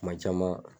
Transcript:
Kuma caman